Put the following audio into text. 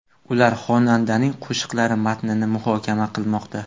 Ular xonandaning qo‘shiqlari matnini muhokama qilmoqda.